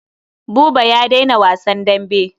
Buba ya daina wasan dambe.